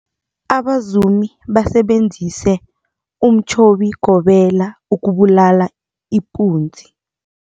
Abazumi basebenzise umtjhobigobela ukubulala ipunzi.